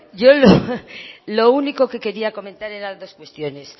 yo lo único que quería comentar era dos cuestiones